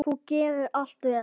Þú gerðir allt vel.